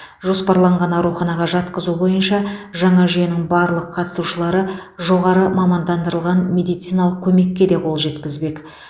жоспарланған ауруханаға жатқызу бойынша жаңа жүйенің барлық қатысушылары жоғары мамандандырылған медициналық көмекке де қол жеткізбек